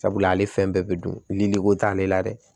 Sabula ale fɛn bɛɛ bɛ dun ni ne ko t'ale la dɛ